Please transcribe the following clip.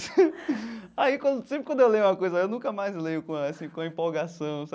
Aí quando... sempre quando eu leio uma coisa, eu nunca mais leio com essa com empolgação sabe.